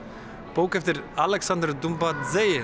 bók eftir Alexander